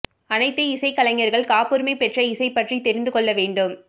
அனைத்து இசைக்கலைஞர்கள் காப்புரிமை பெற்ற இசை பற்றி தெரிந்து கொள்ள வேண்டும்